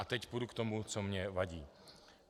A teď půjdu k tomu, co mě vadí.